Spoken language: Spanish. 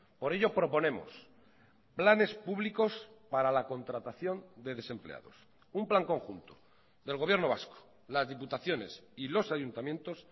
por ello proponemos planes públicos para la contratación de desempleados un plan conjunto del gobierno vasco las diputaciones y los ayuntamientos